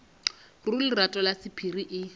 ruri lerato la sephiri e